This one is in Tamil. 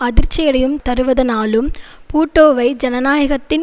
அதிர்ச்சியடையும் தருவதனாலும் பூட்டோவை ஜனநாயகத்தின்